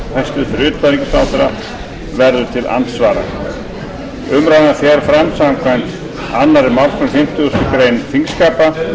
hæstvirts utanríkisráðherra verður til andsvara umræðan fer fram samkvæmt annarri málsgrein fimmtugustu grein þingskapa